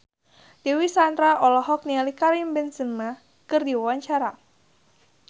Dewi Sandra olohok ningali Karim Benzema keur diwawancara